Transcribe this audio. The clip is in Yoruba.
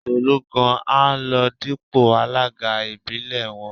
Tolú gan-an ló ń dípò alága ìbílẹ̀ wọn